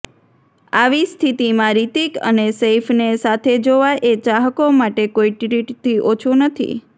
આવી સ્થિતિમાં રિતિક અને સૈફને સાથે જોવા એ ચાહકો માટે કોઈ ટ્રીટથી ઓછું નથી